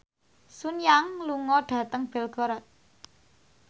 Sun Yang lunga dhateng Belgorod